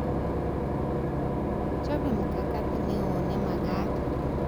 Chobe mkakatit neo nemagat